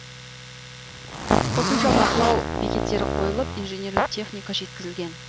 қосымша бақылау бекеттері қойылып инженерлік техника жеткізілген